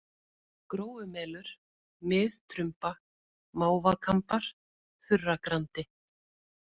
Gróumelur, Mið-Trumba, Mávakambar, Þurragrandi